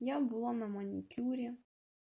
я была на маникюре